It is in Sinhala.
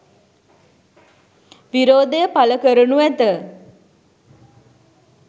විරෝධය පළ කරනු ඇත